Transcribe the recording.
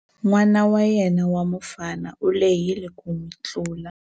N'wana wa yena wa mufana u lehile ku n'wi tlula.